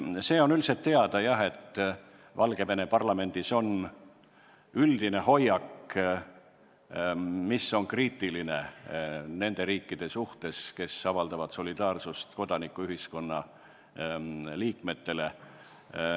Jah, see on üldiselt teada, et Valgevene parlamendi üldine hoiak on kriitiline nende riikide suhtes, kes avaldavad solidaarsust kodanikuühiskonna liikmetele.